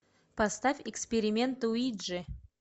поставь эксперимент уиджи